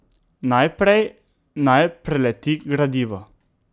Najprej naj preleti gradivo.